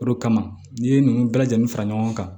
O de kama n'i ye nunnu bɛɛ lajɛlen fara ɲɔgɔn kan